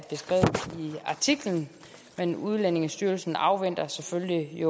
artiklen men udlændingestyrelsen afventer selvfølgelig